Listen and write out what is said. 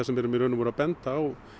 erum í raun og veru að benda á